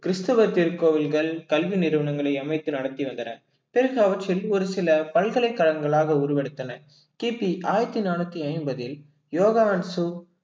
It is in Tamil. கிறிஸ்தவ திருக்கோவில்கள் கல்வி நிறுவனங்களை அமைத்து நடத்தி வந்தனர் பிறகு அவற்றில் ஒரு சில பல்கலைக்கழகங்களாக உருவெடுத்தன கிபி ஆயிரத்தி நானூத்தி ஐம்பதில் யோகா